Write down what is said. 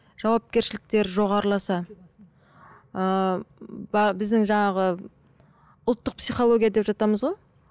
жауапкершіліктері жоғарласа ыыы біздің жаңағы ұлттық психология деп жатамыз ғой